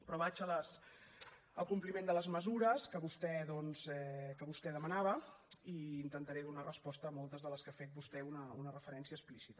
però vaig al compliment de les mesures que vostè doncs demanava i intentaré donar resposta a moltes de què ha fet vostè una referència explícita